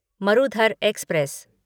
Marudhar express